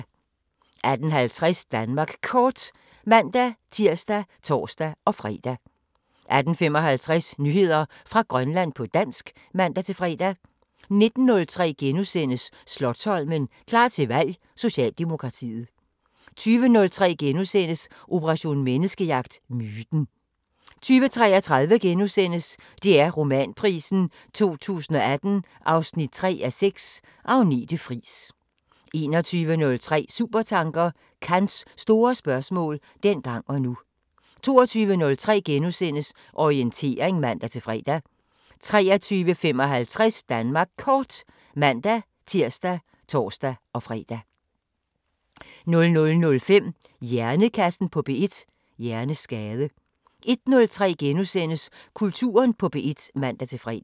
18:50: Danmark Kort (man-tir og tor-fre) 18:55: Nyheder fra Grønland på dansk (man-fre) 19:03: Slotsholmen – klar til valg: Socialdemokratiet * 20:03: Operation Menneskejagt: Myten * 20:33: DR Romanprisen 2018 3:6 – Agnete Friis * 21:03: Supertanker: Kants store spørgsmål – dengang og nu 22:03: Orientering *(man-fre) 23:55: Danmark Kort *(man-tir og tor-fre) 00:05: Hjernekassen på P1: Hjerneskade 01:03: Kulturen på P1 *(man-fre)